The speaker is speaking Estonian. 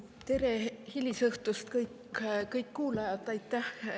Tere hilisõhtust, kõik kuulajad!